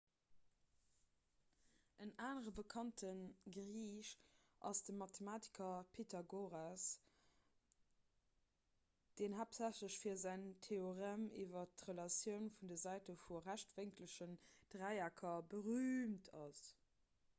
en anere bekannte griich ass de mathematiker pythagoras deen haaptsächlech fir säin theorem iwwer d'relatioune vun de säite vu rechtwénkelegen dräiecker berüümt ass